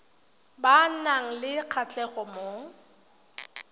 ba nang le kgatlhego mo